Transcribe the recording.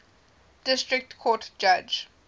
district court judge